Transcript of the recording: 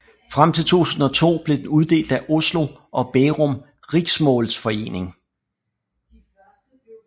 Frem til 2002 blev den uddelt af Oslo og Bærum Riksmålsforening